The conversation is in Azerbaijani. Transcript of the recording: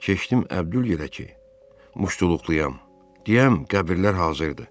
Keçdim Əbdül yerə ki, muştuluqduyam deyəm qəbirlər hazırdır.